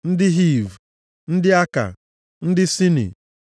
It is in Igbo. ndị Hiv, ndị Aka, ndị Sini,